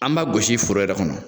An bɛ gosi foro yɛrɛ kɔnɔ